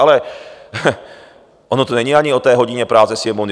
Ale ono to není ani o té hodině práce Sněmovny.